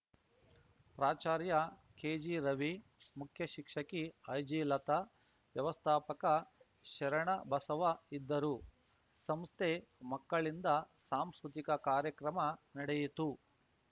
ಪ್ರಾಚಾರ್ಯ ಕೆಜಿರವಿ ಮುಖ್ಯ ಶಿಕ್ಷಕಿ ಐಜಿಲತಾ ವ್ಯವಸ್ಥಾಪಕ ಶರಣಬಸವ ಇದ್ದರು ಸಂಸ್ಥೆ ಮಕ್ಕಳಿಂದ ಸಾಂಸ್ಕೃತಿಕ ಕಾರ್ಯಕ್ರಮ ನಡೆಯಿತು